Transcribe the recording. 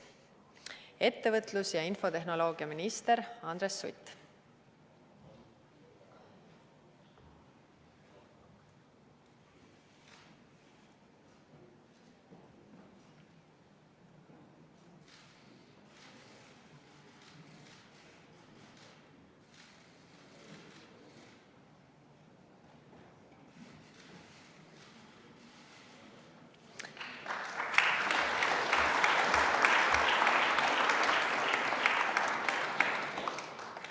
Ettevõtlus- ja infotehnoloogiaminister Andres Sutt.